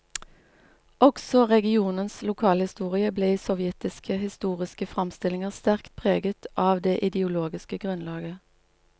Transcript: Også regionens lokalhistorie ble i sovjetiske historiske framstillinger sterkt preget av det ideologiske grunnlaget.